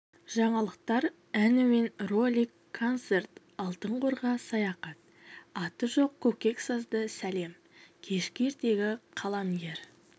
жаңалықтар ән әуен ролик концерт алтын қорға саяхат аты жоқ көкек сазды сәлем кешкі ертегі қаламгер